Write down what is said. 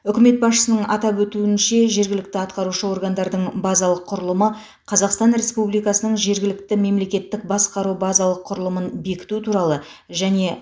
үкімет басшысының атап өтуінше жергілікті атқарушы органдардың базалық құрылымы қазақстан республикасының жергілікті мемлекеттік басқару базалық құрылымын бекіту туралы және